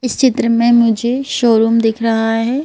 इस चित्र में मुझे शोरूम दिख रहा है।